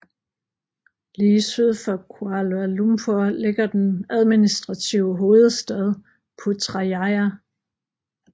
Lige syd for Kuala Lumpur ligger den administrative hovedstad Putrajaya